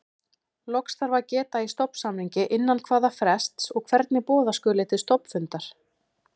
Loks þarf að geta í stofnsamningi innan hvaða frests og hvernig boða skuli til stofnfundar.